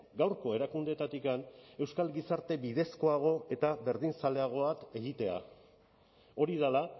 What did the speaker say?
gaurko erakundeetatik euskal gizarte bidezkoago eta berdinzaleago bat egitea hori dela